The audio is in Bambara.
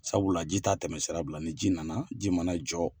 Sabula ji t'a tɛmɛ sira bila ni ji nana, ji mana jɔ